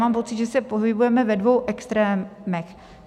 Mám pocit, že se pohybujeme ve dvou extrémech.